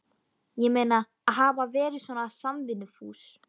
Ég meina, að hafa verið svona samvinnufús.